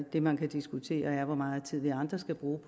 det man kan diskutere er hvor meget tid vi andre skal bruge